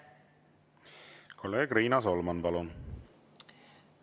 Kolleeg Riina Solman, palun!